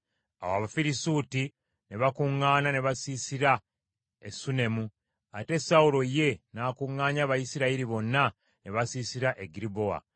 Awo Abafirisuuti ne bakuŋŋaana, ne basiisira e Sunemu, ate Sawulo ye n’akuŋŋaanya Abayisirayiri bonna ne basiisira e Girubowa.